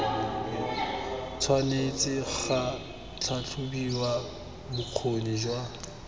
tshwanetse ga tlhatlhobiwa bokgoni jwa